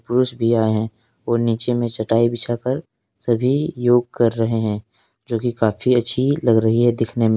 पुरुष भी आए है और नीचे में चटाई बिछाकर सभी योग कर रहे हैं जोकि काफी अच्छी लग रही है देखने में।